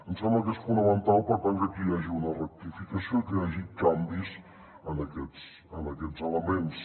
ens sembla que és fonamental per tant que aquí hi hagi una rectificació i que hi hagi canvis en aquests elements